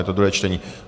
Je to druhé čtení.